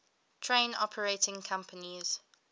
train operating companies